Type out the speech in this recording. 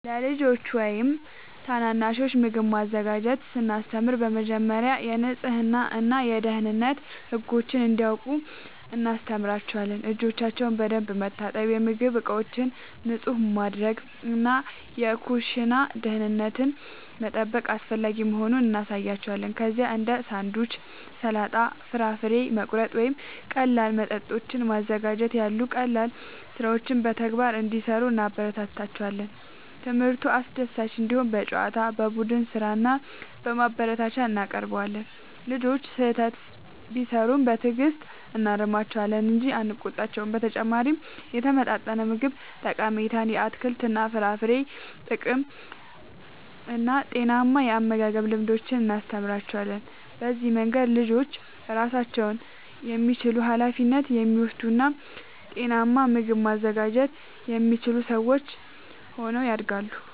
ለልጆች ወይም ታናናሾች ምግብ ማዘጋጀትን ስናስተምር በመጀመሪያ የንጽህና እና የደህንነት ህጎችን እንዲያውቁ እናስተምራቸዋለን። እጆቻቸውን በደንብ መታጠብ፣ የምግብ ዕቃዎችን ንጹህ ማድረግ እና የኩሽና ደህንነትን መጠበቅ አስፈላጊ መሆኑን እናሳያቸዋለን። ከዚያም እንደ ሳንድዊች፣ ሰላጣ፣ ፍራፍሬ መቁረጥ ወይም ቀላል መጠጦችን ማዘጋጀት ያሉ ቀላል ሥራዎችን በተግባር እንዲሠሩ እናበረታታቸዋለን። ትምህርቱ አስደሳች እንዲሆን በጨዋታ፣ በቡድን ሥራ እና በማበረታቻ እናቀርበዋለን። ልጆቹ ስህተት ቢሠሩ በትዕግሥት እናርማቸዋለን እንጂ አንቆጣቸውም። በተጨማሪም የተመጣጠነ ምግብ ጠቀሜታን፣ የአትክልትና የፍራፍሬ ጥቅምን እና ጤናማ የአመጋገብ ልምዶችን እናስተምራቸዋለን። በዚህ መንገድ ልጆች ራሳቸውን የሚችሉ፣ ኃላፊነት የሚወስዱ እና ጤናማ ምግብ ማዘጋጀት የሚችሉ ሰዎች ሆነው ያድጋሉ።